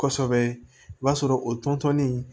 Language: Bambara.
Kosɛbɛ i b'a sɔrɔ o tɔnden